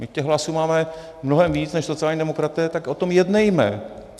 My těch hlasů máme mnohem víc než sociální demokraté, tak o tom jednejme.